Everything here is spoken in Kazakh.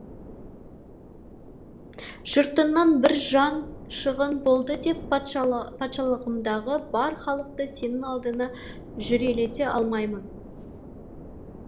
жұртыңнан бір жан шығын болды деп патшалығымдағы бар халықты сенің алдыңа жүрелете алмаймын